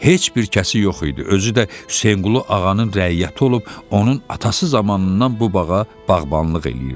Heç bir kəsi yox idi, özü də Həsənqulu ağanın rəiyyəti olub, onun atası zamanından bu bağa bağbanlıq eləyirdi.